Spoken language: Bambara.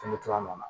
nana